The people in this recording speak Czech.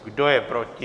Kdo je proti?